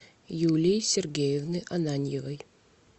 юлии сергеевны ананьевой